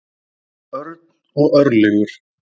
Örn og Örlygur.